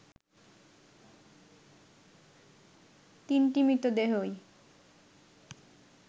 তিনটি মৃতদেহই